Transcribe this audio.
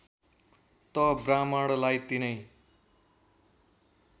त ब्राह्मणलाई तिनै